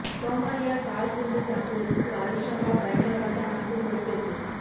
Somalia car குண்டுத் தாக்குதலுக்கு al Shabaab பயங்கரவாத அமைப்பு பொறுப்பேற்பு